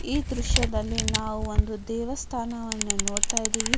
ಈ ದೃಶ್ಯದಲ್ಲಿ ನಾವು ಒಂದು ದೇವಸ್ಥಾನವನ್ನ ನೋಡತ್ತಾ ಇದ್ದಿವಿ.